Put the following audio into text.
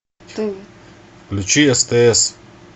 включи стс